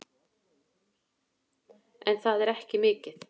En það er ekki mikið.